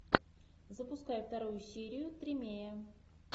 запускай вторую серию тримея